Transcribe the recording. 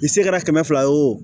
I se kɛra kɛmɛ fila ye wo